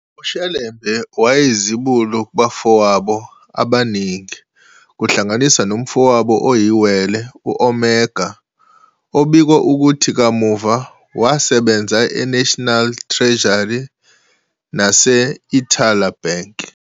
uShelembe wayeyizibulo kubafowabo abaningi, kuhlanganise nomfowabo oyiwele, u-Omega, obikwa ukuthi kamuva wasebenza e-National Treasury nase-Ithala Bank.